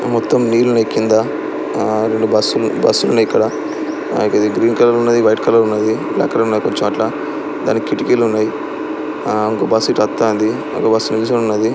మొత్తం నీళ్లు ఉన్నాయి కింద ఆ రెండు బస్లు -బస్లు న్నాయి ఇక్కడ గ్రీన్ కలర్ ఉన్నాయి వైట్ కలర్ ఉన్నాయి బ్లాక్ కలర్ ఉన్నాయి కొంచెం అట్లా దానికి కిటీకీలున్నాయి ఆ ఇంకో బస్సు వచ్చి ఆపుతాంది.